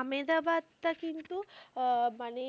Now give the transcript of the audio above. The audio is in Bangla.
আমেদাবাদ টা কিন্তু আঃ মানে,